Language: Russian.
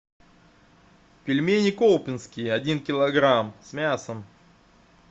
пельмени колпинские один килограмм с мясом